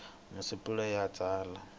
i masungulo ya ku tsala